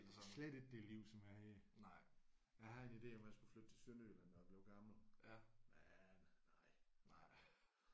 Slet ikke det liv som er her. Jeg havde en idé om at jeg skulle flytte til Sønderjylland når jeg blev gammel men nej